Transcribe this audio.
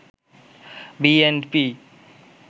BNP